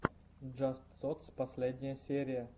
джаст сотс последняя серия